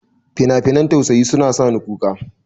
Finafinan tausaya suna sa ni kuka.